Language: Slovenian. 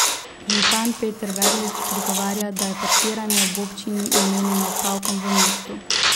Župan Peter Verlič odgovarja, da je parkiranje ob občini namenjeno opravkom v mestu.